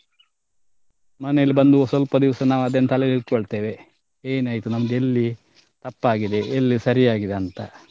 ಮನೇಲ್ ಬಂದು ಸ್ವಲ್ಪ ದಿವ್ಸ ನಾವ್ ಅದನ್ನು ತಲೆಲ್ ಇಟ್ಕೋಳ್ತೆವೆ ಏನಾಯ್ತು ನಮ್ದು ಎಲ್ಲಿ ತಪ್ಪಾಗಿದೆ ಎಲ್ಲಿ ಸರಿಯಾಗಿದೆ ಅಂತ.